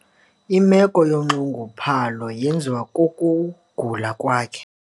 Imeko yonxunguphalo yenziwa kukugula kwakhe.